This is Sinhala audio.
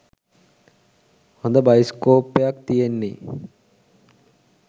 හොද බයිස්කෝප්පයක් තියෙන්නෙ.